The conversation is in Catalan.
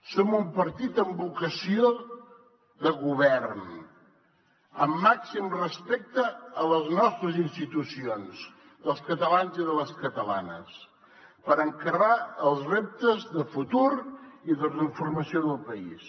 som un partit amb vocació de govern amb màxim respecte a les nostres institucions dels catalans i de les catalanes per encarar els reptes de futur i de transformació del país